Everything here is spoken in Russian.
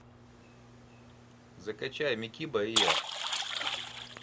закачай микиба и я